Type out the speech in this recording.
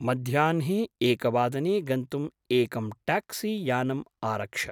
मध्याह्ने एकवादने गन्तुम् एकं ट्याक्सीयानम् आरक्ष।